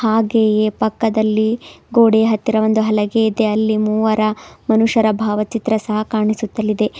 ಹಾಗೆಯೇ ಪಕ್ಕದಲ್ಲಿ ಗೋಡೆಯ ಹತ್ತಿರ ಒಂದು ಹಲಗೆ ಇದೆ ಅಲ್ಲಿ ಮೂವರ ಮನುಷ್ಯರ ಭಾವಚಿತ್ರ ಸಹಾ ಕಣಿಸುತ್ತಲಿದೆ.